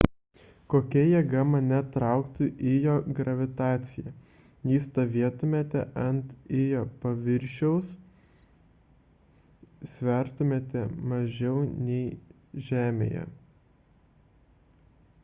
kokia jėga mane trauktų ijo gravitacija jei stovėtumėte ant ijo paviršiaus svertumėte mažiau nei žemėje